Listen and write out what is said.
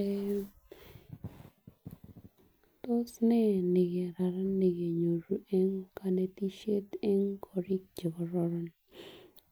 Eh tos nee nekararan nekenyoru en konetisshet en korik chekororon,